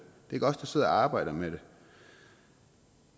sidder og arbejder med det